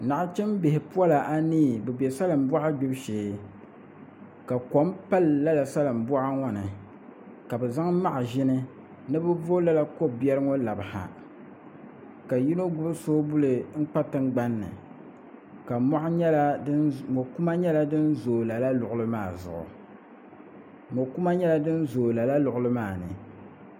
Nachimbihi pola anii bi bɛ salin boɣa gbibu shee ka kom pali lala salin boɣa ŋo nika bi zaŋ maʒini ni bi vo lala ko biɛri ŋo labi ha ka yino gbubi soobuli n kpa tingbanni ka mo kuma nyɛla din zooi lala yaɣali maa zuɣu